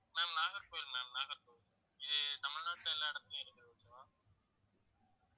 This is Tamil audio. ma'am நாகர்கோவில் ma'am நாகர்கோவில் இது தமிழ்நாட்டுல எல்லா இடத்துலயும் இருக்குது